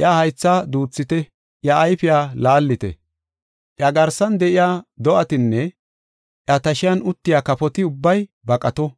iya haytha duuthite; iya ayfiya laallite. Iya garsan de7iya do7atinne iya tashiyan uttiya kafoti ubbay baqato.